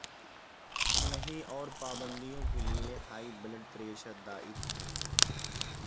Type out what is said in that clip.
نہی اور پابندیوں کے لئے ہائی بلڈ پریشر دائت